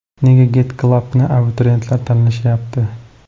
Nega Get Club ’ni abituriyentlar tanlashyapti?